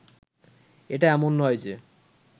এটা এমন নয় যে